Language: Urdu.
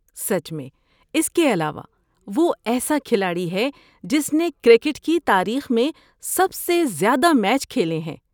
سچ میں۔ اس کے علاوہ وہ ایسا کھلاڑی ہے جس نے کرکٹ کی تاریخ میں سب سے زیادہ میچ کھیلے ہیں۔